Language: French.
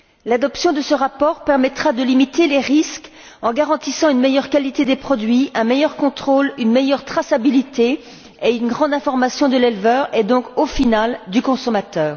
L'adoption de ce rapport permettra de limiter les risques en garantissant une meilleure qualité des produits, un meilleur contrôle, une meilleure traçabilité, une meilleure information de l'éleveur et donc, au final, du consommateur.